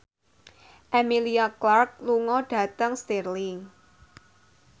Emilia Clarke lunga dhateng Stirling